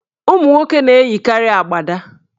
Ụmụnwoke na-eyikarị agbada.